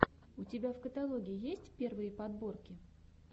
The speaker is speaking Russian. у тебя в каталоге есть первые подборки